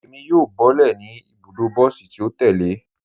Ẹ̀mi yóò bọ̀lẹ́ ní ibùdó bọsí tì o tẹ̀lẹ̀.